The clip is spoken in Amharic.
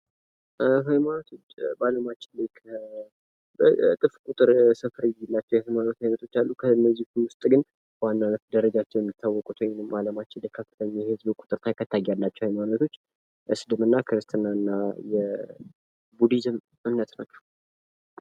የሀይማኖት በአለማችን እጥፍ ቁጥር ስፍር የሌላቸዉ የሀይማኖቶች አሉ። ከእነዚህ ዉስጥ ግን በዋናነት ደሰጃቸዉ የማታወቁት ወይም በአለም ላይ ከፍተኛ የህዝብ ቂጥር ተከታይ ያላቸዉ ሀይማኖቶች እስልምና፣ ክርስትና እና ቡድሂዝም ናቸዉ።